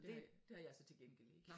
Det det har jeg så til gengæld ikke